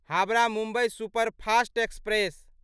Howrah Mumbai superfast express